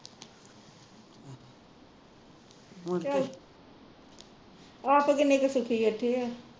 ਆਪ ਕਿੰਨੇ ਕੁ ਸੁਖੀ ਓਥੇ ਹੈ